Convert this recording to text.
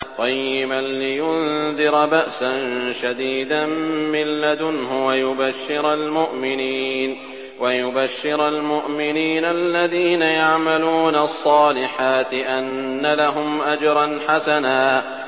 قَيِّمًا لِّيُنذِرَ بَأْسًا شَدِيدًا مِّن لَّدُنْهُ وَيُبَشِّرَ الْمُؤْمِنِينَ الَّذِينَ يَعْمَلُونَ الصَّالِحَاتِ أَنَّ لَهُمْ أَجْرًا حَسَنًا